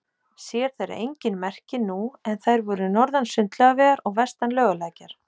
Sér þeirra engin merki nú, en þær voru norðan Sundlaugavegar og vestan Laugalækjar.